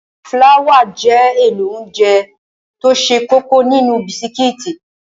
Fláwà jẹ́ èlò óńjẹ tó ṣe kókó nínú bisikí.